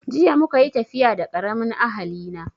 Jiya muka yi tafiya da karamin ahali na